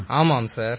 ஆமாம் சார்